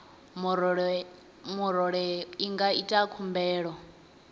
murole i nga ita khumbelo